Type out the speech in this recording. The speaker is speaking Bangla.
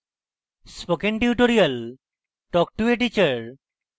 spoken tutorial talk to a teacher প্রকল্পের অংশবিশেষ